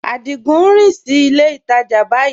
Adigun n rìn sí ilẹ̀ ìtajá báyìí